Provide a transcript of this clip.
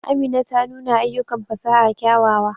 Amina ta nuna ayyukan fasaha kyawawa.